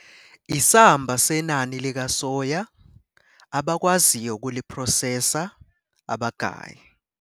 Isamba senani likasoya abakwaziyo ukuliphrosesa abagayi